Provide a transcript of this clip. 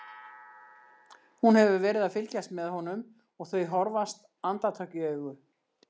Hún hefur verið að fylgjast með honum og þau horfast andartak í augu.